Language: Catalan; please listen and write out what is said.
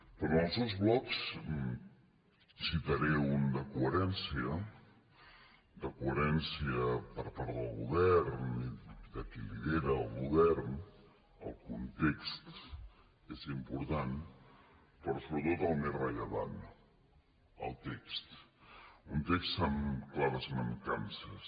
però en els dos blocs en citaré un de coherència de coherència per part del govern i de qui lidera el govern el context és important però sobretot el més rellevant el text un text amb clares mancances